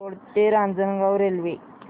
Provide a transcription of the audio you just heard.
दौंड ते रांजणगाव रेल्वे